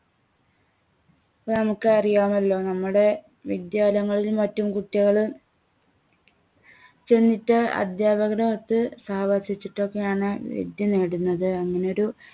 നമുക്ക് അറിയാമല്ലോ നമ്മുടെ വിദ്യാലയങ്ങളിലും മറ്റും കുട്ടികള് ചെന്നിട്ട് അദ്ധ്യാപകരുമൊത്ത് താമസിച്ചിട്ടൊക്കെയാണ് വിദ്യ നേടുന്നത്. അങ്ങിനെ ഒരു